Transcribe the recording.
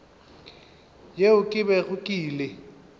yeo ke bego ke ile